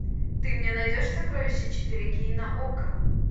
ты мне найдешь сокровище четыре кей на окко